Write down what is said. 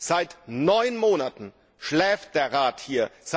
Seit neun Monaten schläft der Rat hier.